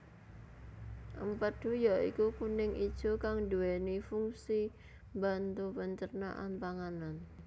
Empedhu ya iku kuning ijo kang nduweni funsi mbantu pencernaan panganan